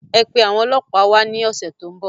Ẹ pe àwọn ọlọpa wá ní ọ̀sẹ̀ tó ń bọ̀